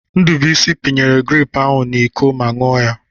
Ndubuisi pinyere grepụ ahụ n'Iko ma ṅụọ ya.